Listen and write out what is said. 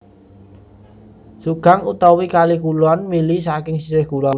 Seogang utawi Kali Kulon mili saking sisih kulon